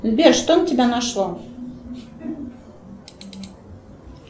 сбер что на тебя нашло